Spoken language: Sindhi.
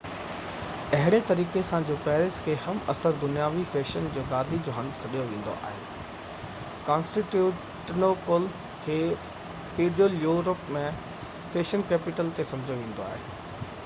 اهڙي طريقي سان جو پيرس کي هم عصر دنياوي فيشن جي گادي جو هنڌ سڏيو ويندو آهي ڪانسٽينٽنوپل کي فيڊيول يورپ جي فيشن ڪيپيٽل طور تي سمجهيو ويندو هو